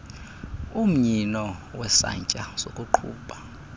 umnyino wesantya sokuqhuba